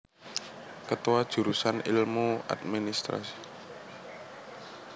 Ketua Jurusan Ilmu Adm